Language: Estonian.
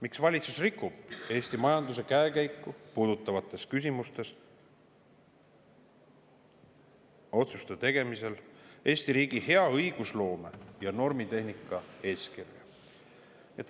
Miks valitsus rikub Eesti majanduse käekäiku puudutavates küsimustes otsuste tegemisel Eesti riigi hea õigusloome ja normitehnika eeskirja?